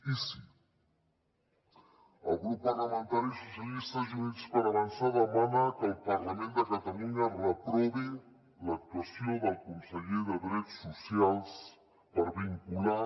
i sí el grup parlamentari socialistes i units per avançar demana que el parlament de catalunya reprovi l’actuació del conseller de drets socials per vincular